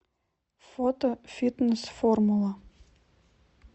фото фитнес формула